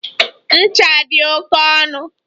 Ncha dị oke ọnụ.